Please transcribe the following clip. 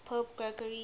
pope gregory